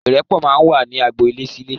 Irẹpọ̀ máa ń wà ní agboolé ní ilé sì ilé